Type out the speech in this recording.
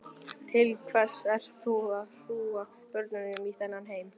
Til hvers ert þú að hrúga börnum í þennan heim?